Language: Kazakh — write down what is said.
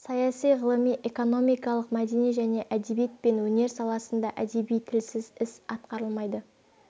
саяси ғылыми экономикалық мәдени және әдебиет пен өнер саласында әдеби тілсіз іс атқарылмайды